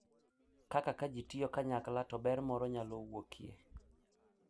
Kaka ka ji tiyo kanyakla to ber moro nyalo wuokye.